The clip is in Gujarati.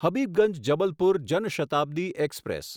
હબીબગંજ જબલપુર જન શતાબ્દી એક્સપ્રેસ